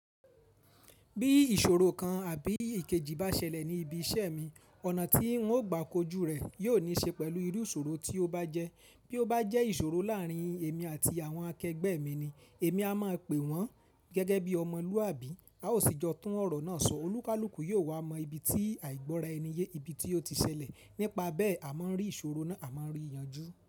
Bí ìṣòro kan àbí ìkejì bá ṣẹlẹ̀ ní ibi iṣẹ́ mi, ọ̀nà tí n ó gbà kojú rè yóò ní ṣe pẹ̀lú irú ìṣòro tí ó bá jẹ́. Bí ó bá jẹ́ ìṣòro láàrín èmi àti àwọn akẹgbẹ́ mi ni, èmi a máa pè wọ́n gẹ́gẹ́ bí ọmọlúàbí, a ó sì jọ tún ọ̀rọ̀ náà sọ. Olúkálúkù yóò wá mọ ibi tí àìgbọ́ra ẹni yé ibi tí ó ti ṣẹlẹ̀. Nípa bẹ́ẹ̀ a máa rí ìṣòro náà, a máa rí yanjú.